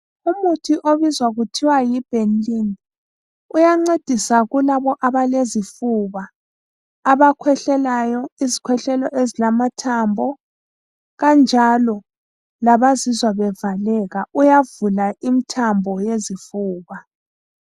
Umuthi obizwa uthiwa yibenylin uyancedisa kulabo abalezifuba, abakhwehlelayo izikhwehlela ezilamathambo kanjalo labazizwa bevaleka, uyavula imithambo yezifuba.